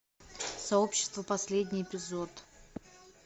сообщество последний эпизод